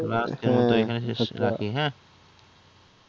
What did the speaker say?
আচ্ছা তাহলে আজকের মতো এখানেই রাখি হ্যাঁ